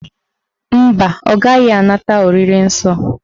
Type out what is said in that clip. Mba, ọ gaghị anata oriri nsọ